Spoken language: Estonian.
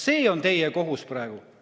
See on teie kohus praegu.